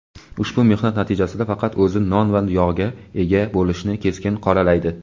ushbu mehnat natijasidan faqat o‘zi "non va yog"ga ega bo‘lishini keskin qoralaydi.